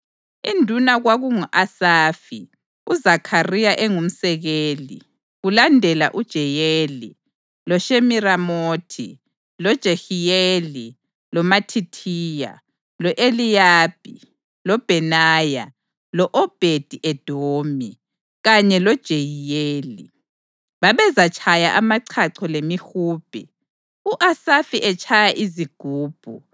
Induna kwakungu-Asafi, uZakhariya engumsekeli, kulandela uJeyeli, loShemiramothi, loJehiyeli, loMathithiya, lo-Eliyabi, loBhenaya, lo-Obhedi-Edomi kanye loJeyiyeli. Babezatshaya amachacho lemihubhe, u-Asafi etshaya izigubhu,